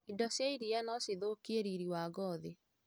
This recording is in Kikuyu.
Indo cia iria no cithũkie riri wa ngothi.